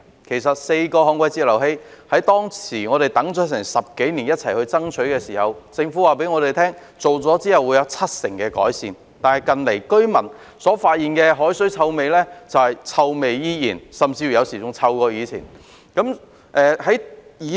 這4個旱季截流器，我們當時一起爭取及等待了10多年，政府告訴我們設置後將可達致七成改善，但近來居民卻發現海水依然有臭味，有時候甚至較以往更臭。